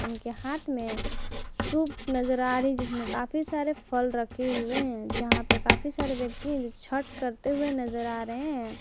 इनके हाथ में सुप नजर आ रही जिसमें काफी सारे फल रखे हुए हैं जहां पे काफी सारे व्यक्ति हैं जो छठ करते हुए नजर आ रहे हैं।